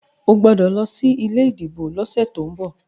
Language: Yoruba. o gbódò ló sí ilé ìdìbò ló sẹ to'n bọ!